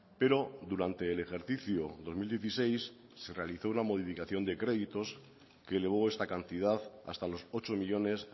pero durante el ejercicio dos mil dieciséis se realizó una modificación de créditos que elevó esta cantidad hasta los ocho millónes